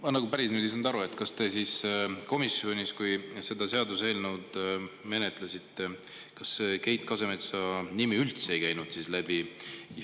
Ma ei saanud nüüd päris hästi aru, kas teil siis komisjonis, kui te seda seaduseelnõu menetlesite, Keit Kasemetsa nimi üldse läbi ei käinud.